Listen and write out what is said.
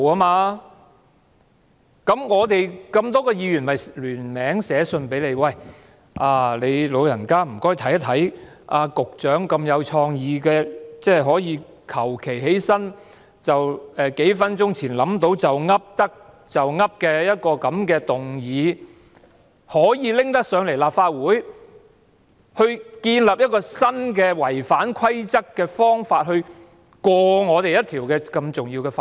於是，我們這麼多位議員便聯署寫信給你，麻煩你"老人家"檢視局長如此具創意，隨便站起來，在數分鐘前才構思好，"噏得就噏"的一項議案，建立一個違反規則的新方法來通過一項如此重要的法案。